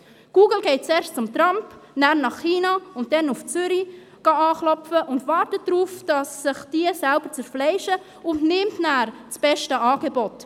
Google geht zuerst zu Trump, nachher nach China und dann nach Zürich anklopfen, wartet darauf, dass sich diese selber zerfleischen und nimmt nachher das beste Angebot.